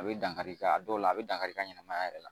A bɛ dankari i ka a dɔw la a bɛ dankari i ka ɲɛnamaya yɛrɛ la